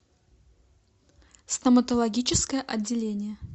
стоматологическое отделение